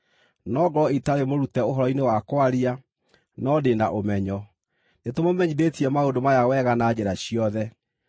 No ngorwo itarĩ mũrute ũhoro-inĩ wa kwaria, no ndĩ na ũmenyo. Nĩtũmũmenyithĩtie maũndũ maya wega na njĩra ciothe.